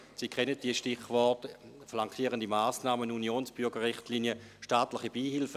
Sie kennen die Stichworte: flankierende Massnahmen, Unionsbürgerrichtlinie, staatliche Beihilfen.